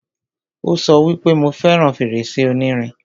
Ó sọ wípé, 'Mo fẹràn fèrèsé onírin'